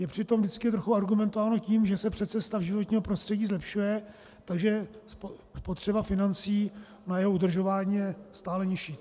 Je při tom vždycky trochu argumentováno tím, že se přece stav životního prostředí zlepšuje, takže spotřeba financí na jeho udržování je stále nižší.